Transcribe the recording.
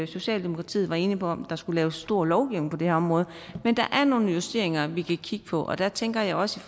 socialdemokratiet var inde på om der skulle laves en stor lovgivning på det her område men der er nogle justeringer vi kan kigge på og der tænker jeg også